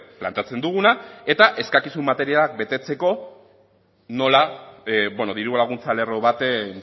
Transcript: planteatzen duguna eta eskakizun materia betetzeko nola diru laguntza lerro baten